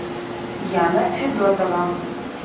яна федотова